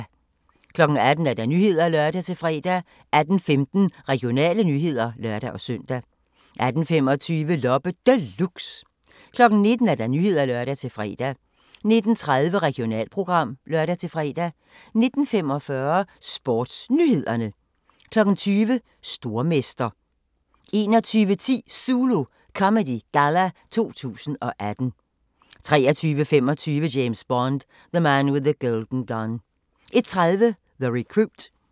18:00: Nyhederne (lør-fre) 18:15: Regionale nyheder (lør-søn) 18:25: Loppe Deluxe 19:00: Nyhederne (lør-fre) 19:30: Regionalprogram (lør-fre) 19:45: SportsNyhederne 20:00: Stormester 21:10: ZULU Comedy Galla 2018 23:25: James Bond: The Man with the Golden Gun 01:30: The Recruit